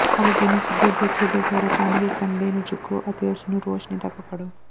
ਹਲਕੇ ਨੂੰ ਸਿੱਧੇ ਦੇਖੇ ਬਗ਼ੈਰ ਅਚਾਨਕ ਇੱਕ ਅੰਡੇ ਨੂੰ ਚੁੱਕੋ ਅਤੇ ਇਸਨੂੰ ਰੋਸ਼ਨੀ ਤਕ ਫੜੋ